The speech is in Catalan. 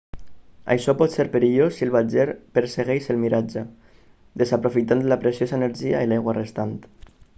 això pot ser perillós si el viatjer persegueix el miratge desaprofitant la preciosa energia i l'aigua restant